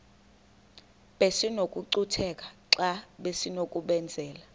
besinokucutheka xa besinokubenzela